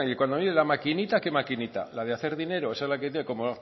cuando la maquinita qué maquinita la de hacer dinero esa la como